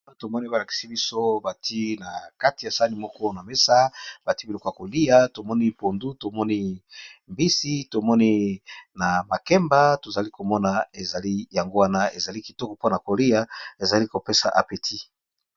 Awa tomoni balakisi biso bati na kati ya sani moko na mesa bati biloko ya kolia tomoni pondu tomoni mbisi tomoni na makemba tozali komona ezali yango wana ezali kitoko mpona kolia ezali kopesa apeti.